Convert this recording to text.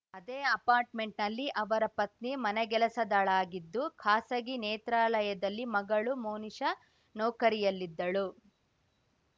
ಅದೇ ಅಪಾರ್ಟ್‌ಮೆಂಟ್‌ನಲ್ಲಿ ಅವರ ಪತ್ನಿ ಮನೆಗೆಲಸದಾಳಾಗಿದ್ದು ಖಾಸಗಿ ನೇತ್ರಾಲಯದಲ್ಲಿ ಮಗಳು ಮೋನಿಶಾ ನೌಕರಿಯಲ್ಲಿದ್ದಳು